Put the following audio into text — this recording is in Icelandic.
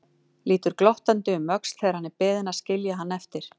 Lítur glottandi um öxl þegar hann er beðinn að skilja hann eftir.